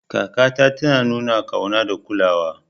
Kakata tana nuna ƙauna da kulawa.